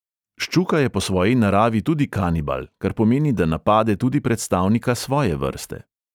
Ščuka je po svoji naravi tudi kanibal, kar pomeni, da napade tudi predstavnika svoje vrste.